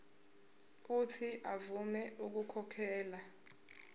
uuthi avume ukukhokhela